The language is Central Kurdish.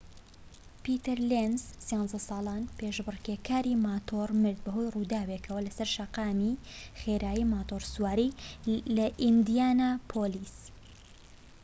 پیتەر لێنز ١٣ ساڵان پێشبڕكێکاری ماتۆر مرد بەهۆی ڕووداوێکەوە لەسەر شەقامی خێرای ماتۆڕسواری لە ئیندیانا پۆلیس